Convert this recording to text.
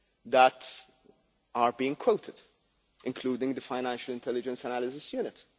that are being quoted, including the Financial Intelligence Analysis Unit.